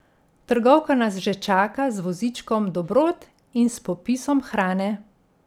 Trgovka nas že čaka z vozičkom dobrot in s popisom hrane.